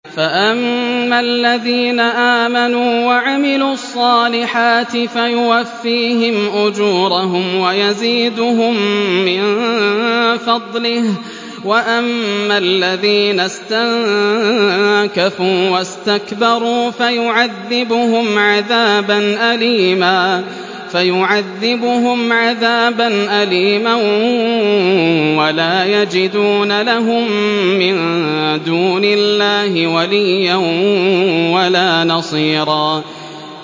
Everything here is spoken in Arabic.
فَأَمَّا الَّذِينَ آمَنُوا وَعَمِلُوا الصَّالِحَاتِ فَيُوَفِّيهِمْ أُجُورَهُمْ وَيَزِيدُهُم مِّن فَضْلِهِ ۖ وَأَمَّا الَّذِينَ اسْتَنكَفُوا وَاسْتَكْبَرُوا فَيُعَذِّبُهُمْ عَذَابًا أَلِيمًا وَلَا يَجِدُونَ لَهُم مِّن دُونِ اللَّهِ وَلِيًّا وَلَا نَصِيرًا